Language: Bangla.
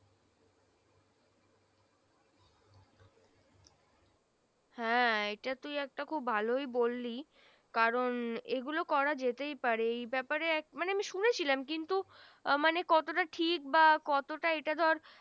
হ্যাঁ এটা তুই একটা খুব ভালোই বললি কারন এগুলো করাই যেতেই পারে এই ব্যাপারে মানে আমি শুনেছিলাম কিন্তু আহ মানে কতটা ঠিক বা কতটা এটা ধর